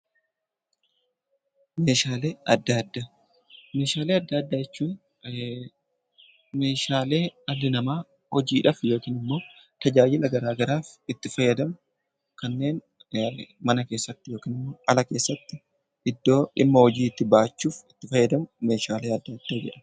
Meeshaalee addaa addaa Meeshaalee addaa addaa jechuun Meeshaalee dhalli namaa hojiidhaaf yookaan immoo tajaajila garaagaraa itti fayyadamu kanneen mana keessatti yookiin ala keessatti iddoo dhimma hojii itti bahachuuf itti fayyadamu Meeshaalee addaa addaa jedhama.